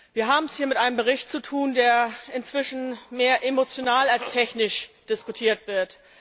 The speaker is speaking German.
Wir haben es hier mit einem Bericht zu tun, der inzwischen mehr emotional als technisch diskutiert wird.